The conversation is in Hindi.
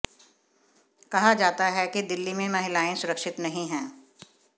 कहा जाता है कि दिल्ली में महिलाएं सुरक्षित नहीं हैं